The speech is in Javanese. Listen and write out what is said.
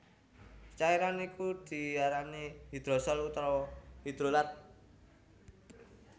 Cairan iku diarani hidrosol utawa hidrolat